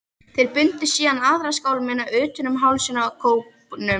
Þeir bundu síðan aðra skálmina utan um hálsinn á kópnum.